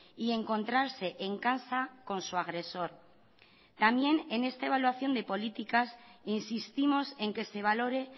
y encontrarse en casa con su agresor también en esta evaluación de políticas insistimos en que se valore